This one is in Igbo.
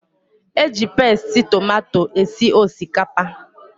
Eji pasti tomato esi osikapa